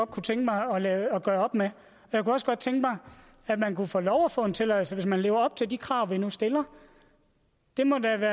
kunne tænke mig at gøre op med jeg kunne også godt tænke mig at man kunne få lov at få en tilladelse hvis man lever op til de krav vi nu stiller det må da